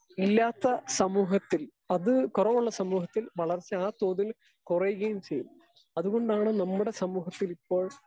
Speaker 2 ഇല്ലാത്ത സമൂഹത്തിൽ അത് കൊറവുള്ള സമൂഹത്തിൽ വളർച്ച ആ തോതിൽ കൊറയുകയും ചെയ്യും. അതുകൊണ്ടാണ് നമ്മടെ സമൂഹത്തിൽ ഇപ്പോൾ